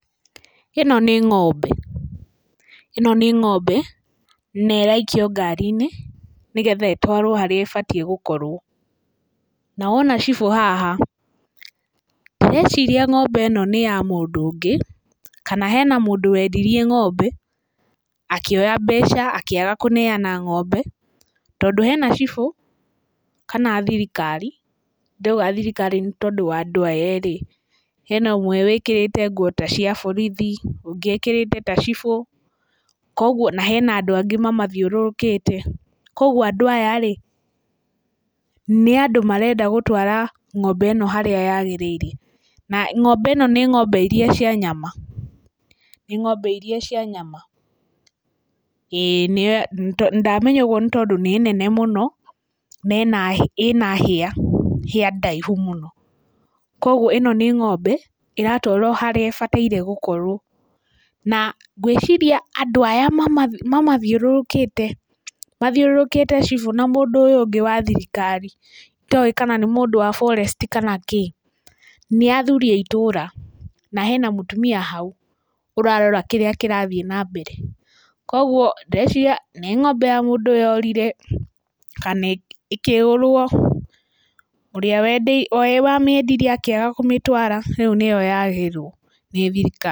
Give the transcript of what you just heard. Ĩno nĩ ng'ombe, ĩno nĩ ng'ombe na ĩraikio ngari-inĩ, nĩgetha ĩtwarwo harĩa ĩbatiĩ gũkorwo. Na wona cibũ haha ndĩreciria ng'ombe ĩno nĩ ya mũndũ ũngĩ, kana mũndũ wendirie ng'ombe akĩoya mbeca akĩaga kũneyana ng'ombe. Tondũ hena cibũ kana thirikari, ndĩrauga thirikari nĩ tondũ wa andũ aya erĩ, koguo, hena ũmwe wĩkĩrĩte nguo ta cia borithi na ũrĩa ũngĩ ekĩrĩte ta cibũ, na hena andũ angĩ mamathiũrũrũkĩte, koguo andũ aya nĩ andũ marenda gũtwara ng'ombe ĩno harĩa yagĩrĩire. Na ng'ombe ĩno nĩ ng'ombe iria cia nyama, nĩ ng'ombe iria cia nyama, ndamenya ũguo tondũ nĩ nene mũno na ĩna hĩa, hĩa ndaihu mũno. Koguo ĩno nĩ ng'ombe ĩratwarwo harĩa ĩbatiĩ gũkorwo na gwĩciria andũ aya mamathiũrũrũkĩte, mathiũrũrũkĩte cibũ na mũndũ ũyũ ũngĩ wa thirikari itowĩ kana nĩ mũndũ wa forest kana kĩ, nĩ athuri a itũra na hena mũtumia hau ũrarora kĩrĩa kĩrathiĩ na mbere. Koguo ndĩreciria nĩ ng'ombe ya mũndũ yorire kana ĩkĩgũrwo, ũrĩa wamĩendirie akĩaga kũmĩtwara, koguo nĩyo yagĩrwo nĩ thirikari.